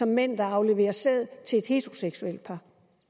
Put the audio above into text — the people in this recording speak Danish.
mænd der afleverer sæd til et heteroseksuelt par